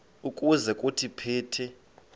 ukuze kuthi phithi